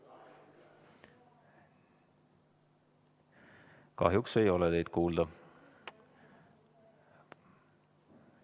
Kahjuks ei ole teid kuulda.